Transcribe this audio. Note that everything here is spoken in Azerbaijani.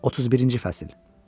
31-ci fəsil.